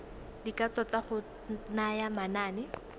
dikatso tsa go naya manane